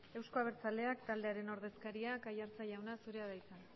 euzko abertzaleak taldearen ordezkaria aiartza jauna zurea da hitza